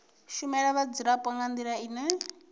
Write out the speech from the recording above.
shumela vhadzulapo nga ndila ine